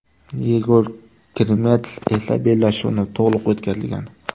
Yegor Krimets esa bellashuvni to‘liq o‘tkazgan.